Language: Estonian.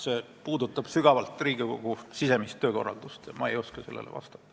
See küsimus puudutab sügavalt Riigikogu sisemist töökorraldust, ma ei oska sellele vastata.